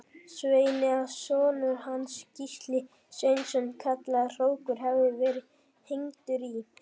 Sveini að sonur hans, Gísli Sveinsson kallaður hrókur, hefði verið hengdur í